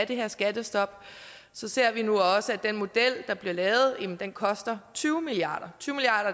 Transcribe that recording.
det her skattestop ser vi nu også at den model der bliver lavet koster tyve milliard